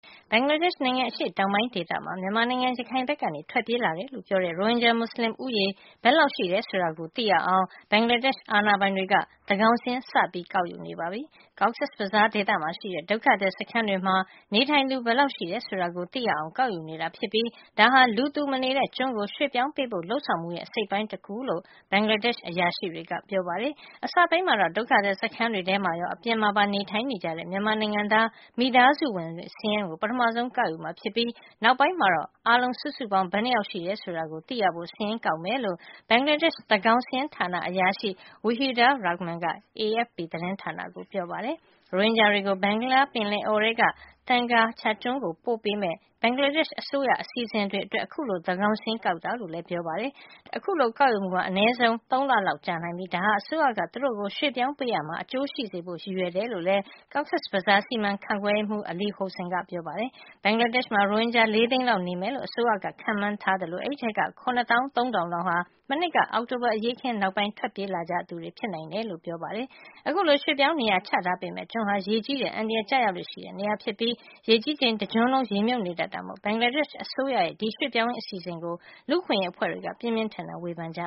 ဘင်္ဂလားဒေ့ရှ်နိုင်ငံ အရှေ့တောင်ပိုင်းဒေသမှာ မြန်မာနိုင်ငံ ရခိုင်ဘက်က ထွက်ပြေးလာတယ်လို့ ပြောတဲ့ ရိုဟင်ဂျာ မူစလင်လူဦးရေ ဘယ်လောက်ရှိတယ်ဆိုတာကို သိရအောင် ဘင်္ဂလားဒေ့ရှ် အာဏာပိုင်တွေက သန်းကောင်စာရင်း စပြီး ကောက်ယူနေပါပြီ။ Cox’s Bazar ဒေသမှာ ရှိတဲ့ ဒုက္ခသည်စခန်းတွေမှာ နေထိုင်သူဘယ်လောက် ရှိတယ်ဆိုတာကို သိရအောင် ကောက်ယူနေတာ ဖြစ်ပြီး ဒါဟာ လူမနေတဲ့ ကျွန်းကို ရွှေ့ပြောင်းပေးဖို့ လုပ်ဆောင်မှုရဲ့ အစိတ်အပိုင်းတခုလို့ ဘင်္ဂလားဒေ့ရှ် အရာရှိတွေက ပြောပါတယ်။ အစပိုင်းမှာတော့ ဒုက္ခသည် စခန်းတွေအထဲမှာရော အပြင်မှာပါ နေထိုင်နေတဲ့ မြန်မာနိုင်ငံသား မိသားစုစာရင်းကို ပထမဆုံး ကောက်ယူမှာ ဖြစ်ပြီး နောက်ပိုင်းမှာ အားလုံးစုစုပေါင်း ဘယ်နှစ်ယောက်ရှိတယ်ဆိုတာကို သိရဖို့ စာရင်းကောက်မှာ ဖြစ်ကြောင်း ဘင်္ဂလားဒေ့ရှ် သန်းကောင် စာရင်းဌာန အရာရှိ Wahidur Rahman က AFP သတင်းဌာနကို ပြောပါတယ်။ ရိုဟင်ဂျာတွေကို ဘင်္ဂလားပင်လယ်အော်ထဲက Thengar Char ကျွန်းကို ပို့ပေးမယ့် ဘင်္ဂလားဒေ့ရှ် အစိုးရ အစီအစီအစဉ်အတွက် အခုလို သန်းခေါင်စာရင်းကောက်ယူတာလို့လည်း ပြောပါတယ်။ အခုလို သန်းကောင်စာရင်း ကောက်ယူမှုဟာ အနဲဆုံး ၃ လလောက် ကြာမြင့်နိုင်ပြီး ဒါဟာ အစိုးရက သူတို့ကို ရွှေ့ပြောင်းပေးရာမှာ အကျိုး ရှိစေဖို့ရည်ရွယ် တယ်လို့လည်း Cox's Bazar က စီမံခန့်ခွဲရေးမှူး Ali Hossain ကပြောပါတယ်။ ဘင်္ဂလားဒေ့ရှ်မှာ ရိုဟင်ဂျာ ၄ သိန်းလောက် နေထိုင်မယ်လို့ အစိုးရက ခန့်မှန်းထားပြီး အဲဒီထဲက ၇ သောင်း ၃ ထောင်လောက်ဟာ မနှစ်က အောက်တိုဘာ အရေးအခင်း နောက်ပြီး ထွက်ပြေးလာကြသူတွေ ဖြစ်နိုင်တယ်လို့ဆိုပါတယ်။ အခုလို ရွှေ့ပြောင်းနေရာချ ပေးမယ့် ကျွန်းဟာ ရေကြီးတဲ့ အန္တရာယ် ကျရောက်လေ့ရှိတဲ့ နေရာ ဖြစ်ပြီး ရေကြီးချိန်မှာ တကျွန်းလုံး ရေမြုပ်နေတတ်တာမို့ ဘင်္ဂလားဒေ့ရှ်အစိုးရရဲ့ ရွှေ့ပြောင်းရေးအစီအစဉ်ကို လူ့အခွင့်ရေးအဖွဲ့အစည်းတွေက ပြင်းပြင်းထန်ထန် ဝေဖန်နေကြ